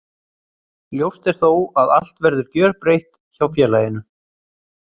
Ljóst er þó að allt verður gjörbreytt hjá félaginu.